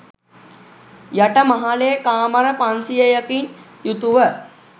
යට මහලේ කාමර පන්සියයකින් යුතුව